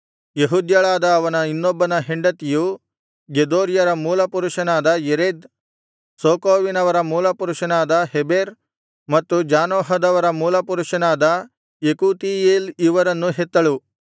ಯೆಹೂದ್ಯಳಾದ ಅವನ ಇನ್ನೊಬ್ಬ ಹೆಂಡತಿಯು ಗೆದೋರ್ಯರ ಮೂಲಪುರುಷನಾದ ಯೆರೆದ್ ಸೋಕೋವಿನವರ ಮೂಲಪುರುಷನಾದ ಹೆಬೆರ್ ಮತ್ತು ಜಾನೋಹದವರ ಮೂಲಪುರುಷನಾದ ಯೆಕೂತೀಯೇಲ್ ಇವರನ್ನು ಹೆತ್ತಳು